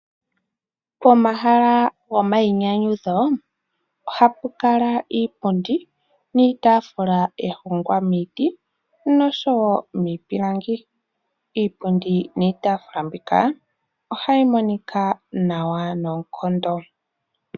Pomahala gomayinyanyudho oha pu kala iipundi niitaafula ya hongwa miiti nosho wo miipilangi. Iipundi niitafula mbika ohayi monika nawa noonkondo.